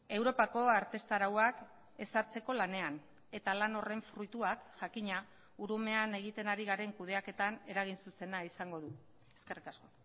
europako arteztarauak ezartzeko lanean eta lan horren fruituak jakina urumean egiten ari garen kudeaketan eragin zuzena izango du eskerrik asko